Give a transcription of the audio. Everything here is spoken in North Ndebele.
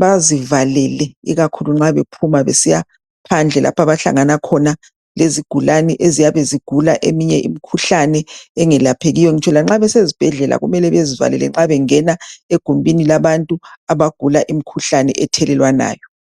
bazivalele ikakhulu nxa bephuma besiya phandle lapha abahlangana khona lezigulane eziyabe zigula eminye imikhuhlane engelaphekiyo. Ngitsho lanxa besezibhedlela kumele bezivakele nxa bengena egumbini labantu abagula imikhuhlane ethelelwanayo